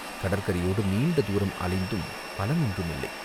கடற்கரையோடு நீண்ட தூரம் அலைந்தும் பலன் ஒன்றும் இல்லை.